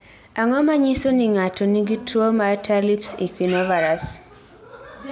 Ang�o ma nyiso ni ng�ato nigi tuo mar Talipes equinovarus?